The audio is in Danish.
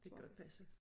Det kan godt passe